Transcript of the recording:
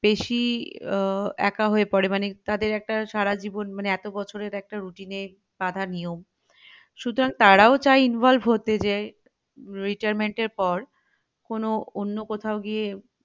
বেশি আহ একা হয়ে পরে মানে তাদের একটা সারাজীবন মানে এতবছরের একটা routine এ বাধা নিয়ম সুতরাং তারাও চাই involve হতে যে retirement এর পর কোনো অন্য কোথাও গিয়ে